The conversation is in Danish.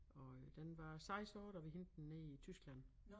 Og øh den var 6 år da vi hentede den nede i Tyskland